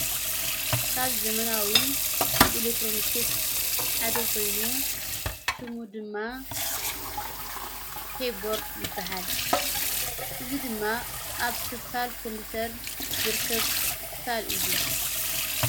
ካብ ዘመናዊ ኢሌትሮንክስ ሓደኾይኑ ፤ሽሙ ድማ ኬይቦርድ ይበሃል። እዝ ድማ ኣብ ክሣል ኮምጵተር ዝርከብ ክሳል እዩ።